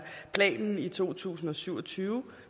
planen i to tusind og syv og tyve